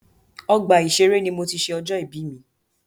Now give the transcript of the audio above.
Ọgbà ìṣẹré ní mo tí ṣé ọjọ́ ìbí mi.